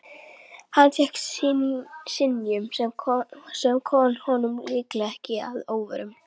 Hann fékk synjun, sem kom honum líklega ekki að óvörum.